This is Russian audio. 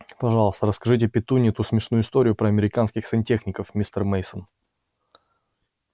пожалуйста расскажите петунье ту смешную историю про американских сантехников мистер мейсон